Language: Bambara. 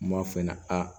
N b'a f'i ɲɛna aa